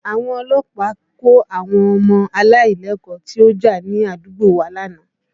Àwọn ọlọ́pàá kó àwọn ọmọ aláìlẹ́kọ̀ọ́ tí ó já ní àdúgbò wa lánàá